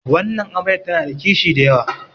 wannan amaryar tana da kishi da yawa